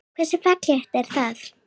Hversu fallegt er það?